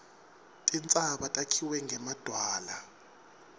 tintsaba takhiwe ngemadwala